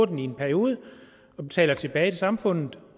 den i en periode og betaler tilbage til samfundet